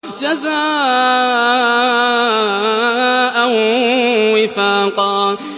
جَزَاءً وِفَاقًا